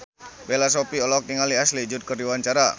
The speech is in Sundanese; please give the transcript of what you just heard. Bella Shofie olohok ningali Ashley Judd keur diwawancara